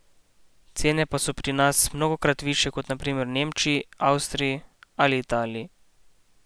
Cene pa so pri nas mnogokrat višje kot na primer v Nemčiji, v Avstriji ali Italiji.